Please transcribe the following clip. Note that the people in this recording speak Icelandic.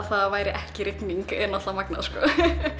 það væri ekki rigning er náttúrulega magnað sko